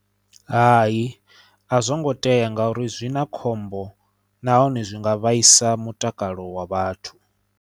Hai a zwo ngo tea ngauri zwi na khombo nahone zwi nga vhaisa mutakalo wa vhathu.